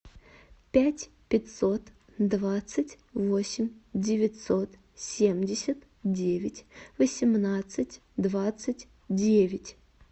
пять пятьсот двадцать восемь девятьсот семьдесят девять восемнадцать двадцать девять